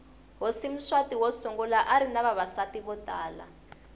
hhosi mswati wosungula arinavavasati votala